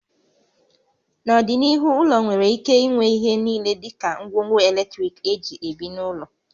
N'ọdịnihu, ụlọ nwere ike inwe ihe niile dị ka ngwongwo eletrik éjị ebi n'ụlọ